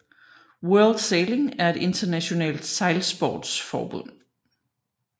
World Sailing er et internationalt sejlsportsforbund